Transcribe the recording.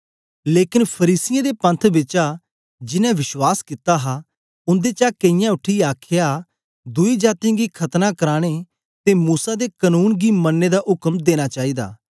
लेकन फरीसियें दे पंथ बिचा जिनैं विश्वास कित्ता हा उन्देचा केईयें उठीयै आखया दुई जातीयें गी खतना कराने ते मूसा दे कनून गी मनने दा उक्म देना चाईदा